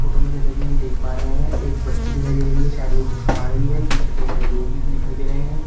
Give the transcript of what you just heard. Photo में जैसा कि हम देख पा रहे हैं एक बच्ची दिखाई दे रही है शायद वो कुछ खा रही है पीछे कई सारे लोग भी दिखाई दे रहे हैं।